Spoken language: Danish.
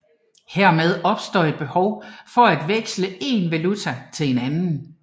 Hermed opstår et behov for at veksle én valuta til en anden